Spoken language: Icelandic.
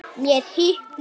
Mér hitnar.